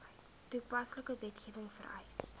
toepaslike wetgewing vereis